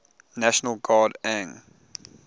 national guard ang